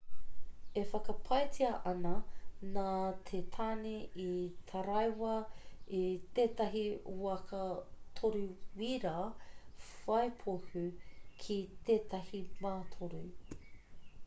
e whakapaetia ana nā te tāne i taraiwa i tētahi waka toru-wīra whai pohū ki tētahi mātoru